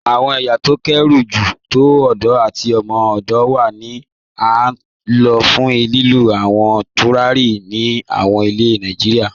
Awọn èyá tó kéré jù tó òdò àti òmò-òdò wà ti a n lọ̀ fún lílú àwọn tùràrí ní àwọn ilẹ̀ Nàìjíríà.